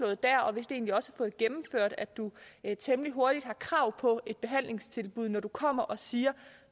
det der og vist egentlig også fået gennemført at du temmelig hurtigt har krav på et behandlingstilbud når du kommer og siger